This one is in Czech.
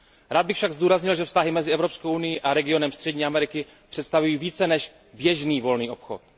Rád bych však zdůraznil, že vztahy mezi Evropskou unií a regionem Střední Ameriky představují více než běžný volný obchod.